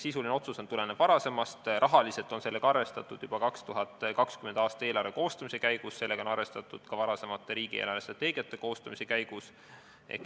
Sisuline otsus tuleneb varasemast, rahaliselt on sellega arvestatud juba 2020. aasta eelarve koostamise käigus, sellega on arvestatud ka varasemate riigi eelarvestrateegiate koostamise käigus.